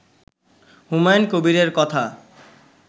হুমায়ুন কবিরের কথা